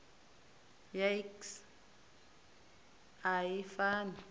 ya iks a i fani